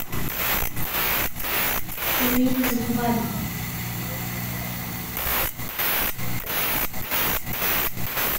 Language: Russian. пельмени с грибами